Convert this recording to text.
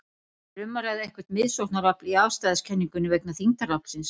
Er um að ræða eitthvert miðsóknarafl í afstæðiskenningunni vegna þyngdaraflsins?